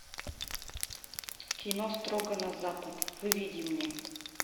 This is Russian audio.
кино строго на запад выведи мне